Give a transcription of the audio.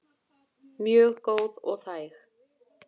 Mjög góð og þæg.